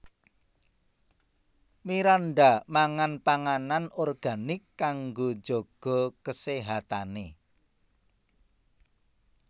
Miranda mangan panganan organik kanggo njaga keséhatane